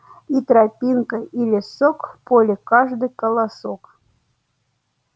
и тропинка и лесок в поле каждый колосок